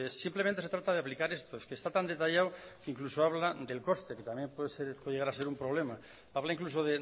simplemente se trata de aplicar estos está tan detallado que incluso habla del coste que también puede llegar a ser un problema habla incluso